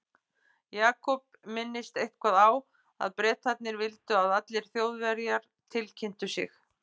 Jakob minntist eitthvað á að Bretarnir vildu að allir Þjóðverjar tilkynntu sig.